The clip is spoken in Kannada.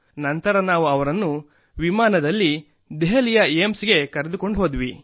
ನಂತರ ನಾವು ಅವರನ್ನು ವಿಮಾನದಲ್ಲಿ ಕರೆತಂದು ದೆಹಲಿಯ ಏಮ್ಸ್ಗೆ ಕರೆದುಕೊಂಡುಹೋದವು